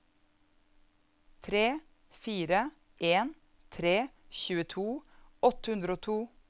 tre fire en tre tjueto åtte hundre og to